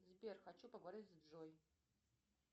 сбер хочу поговорить с джой